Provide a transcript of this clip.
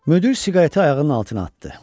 Müdir siqareti ayağının altına atdı.